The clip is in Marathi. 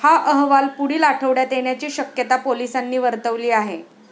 हा अहवाल पुढील आठवड्यात येण्याची शक्यता पोलिसांनी वर्तवली आहे.